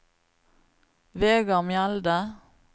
Vegard Mjelde